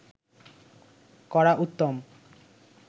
করা উত্তম